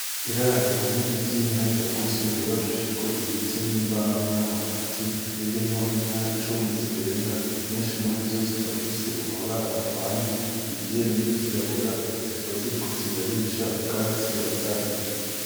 Iraro rinini ry'inka ryagutse ryubakishijwe ibiti n'imbaho n'amabati ririmwo inka nka cumi zirenga nyishi murizo zikaba zifise amabara avanze iryera n'iryirabura zikaba ziriko zirarisha ubwatsi bazahiriye.